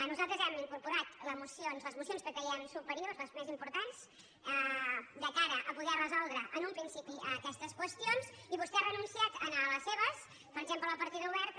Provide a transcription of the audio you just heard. nosaltres hem incorporat les mocions que creiem su·periors les més importants de cara a poder resoldre en un principi aquestes qüestions i vostè ha renunciat en les seves per exemple en la partida oberta